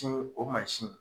o mansin